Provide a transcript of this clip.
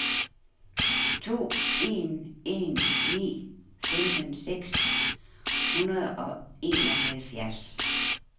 to en en ni femten seks hundrede og enoghalvfjerds